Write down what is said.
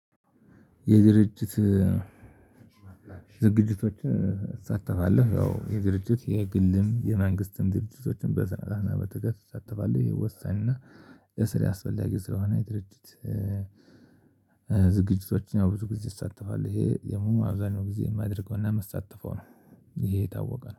የድርጅት ዝግጅቶችን እሳተፋለሁ ያው የድርጅት የግልም የመንግስትም ድርጅቶችም በስረአትና በትጋት እሳተፋለሁ። ይሄ ወሳኝና ለስራዬ ያስፈላጊ ስለሆነ። የድርጅት ዝግጅቶችን አዎ ብዙ ጊዜ እሳተፋለሁ። ይሄ አብዛኛውን ጊዜ የማደርገው እና ምሳተፈው ነው ይሄ የታወቀ ነው